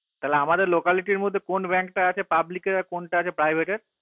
তা আমাদের locality র মধ্যে কোন bank টা আছে public এর আর কোন bank টা আছে private এর